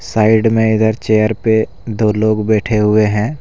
Side में इधर chair पे दो लोग बैठे हुए हैं।